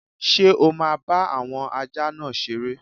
Ṣé o máa bá àwọn ajá náà seré?